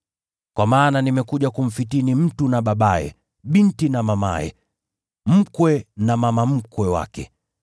Kwa maana nimekuja kumfitini “ ‘mtu na babaye, binti na mamaye, mkwe na mama mkwe wake;